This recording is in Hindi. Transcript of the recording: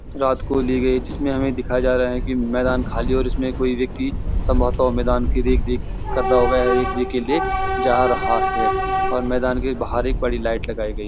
रात को ली गई जिसमे हमे दिखाया जा रहा कि मैदान खाली है और इसमे कोई व्यक्ति संभवतः मैदान की रेख देख कर रहा होगा या रेख देख के लिए जा रहा है और मैदान के एक बड़ी लाइट लगाई गई है।